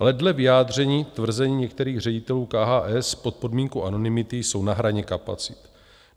Ale dle vyjádření - tvrzení některých ředitelů KHS pod podmínkou anonymity - jsou na hraně kapacit.